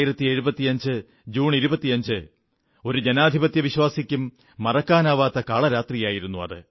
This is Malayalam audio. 1975 ജൂൺ 25 ഒരു ജനാധിപത്യവിശ്വാസിക്കും മറക്കാനാവാത്ത കാളരാത്രിയായിരുന്നു അത്